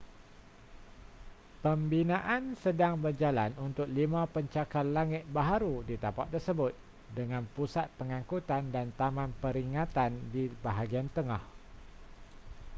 pembinaan sedang berjalan untuk lima pencakar langit baharu di tapak tersebut dengan pusat pengangkutan dan taman peringatan di bahagian tengah